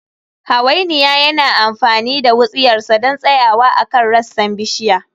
Hawainiya yana amfani da wutsiyarsa don tsayawa akan rassan bishiya